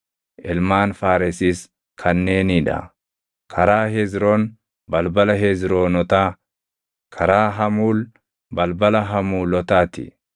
Ilmaan Faaresis kanneenii dha: karaa Hezroon, balbala Hezroonotaa; karaa Hamuul, balbala Hamuulotaa ti.